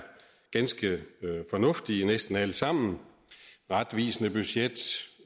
ganske fornuftige næsten alle sammen retvisende budget